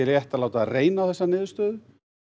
að láta reyna á þessa niðurstöðu